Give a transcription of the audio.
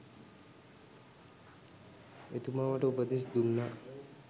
එතුමා මට උපදෙස් දුන්නා